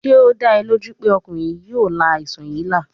Ṣe o da ọ loju pe ọkunrin yii yoo la aisan yii la?